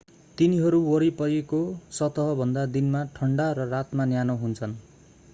तिनीहरू वरिपरिको सतहभन्दा दिनमा ठण्डा र रातमा न्यानो हुन्छन्